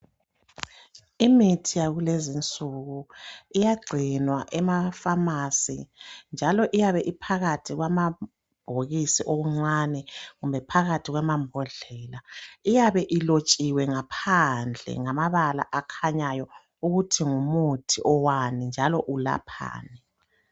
Imithi yakulezi insuku. Iyagcinwa emapharmacy, njalo iyabe iphakathi kwamabhokisi okuncane, kumbe phakathi kwemambodlela. Kuyabe kubhaliwe ngaphandle ngamabala amancane, ukuthi ngumuthi, owani, njalo ulaphani.